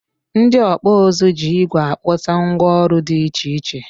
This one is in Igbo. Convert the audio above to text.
Ndị ọkpụ ụzụ jị igwe akpụta ngwá ọrụ dị iche iche.